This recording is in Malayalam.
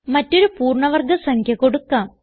മറ്റൊരു പൂർണ്ണ വർഗ സംഖ്യ കൊടുക്കാം